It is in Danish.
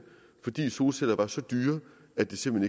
fordi solceller var så dyre at det simpelt